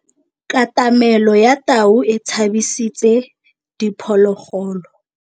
Katamêlô ya tau e tshabisitse diphôlôgôlô.